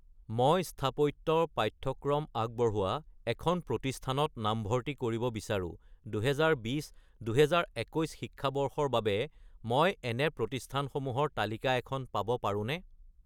মই স্থাপত্য ৰ পাঠ্যক্ৰম আগবঢ়োৱা এখন প্ৰতিষ্ঠানত নামভৰ্তি কৰিব বিচাৰোঁ, 2020 - 2021 শিক্ষাবৰ্ষৰ বাবে মই এনে প্ৰতিষ্ঠানসমূহৰ তালিকা এখন পাব পাৰোঁনে?